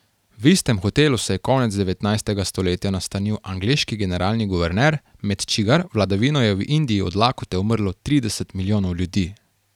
V istem hotelu se je konec devetnajstega stoletja nastanil angleški generalni guverner, med čigar vladavino je v Indiji od lakote umrlo trideset milijonov ljudi.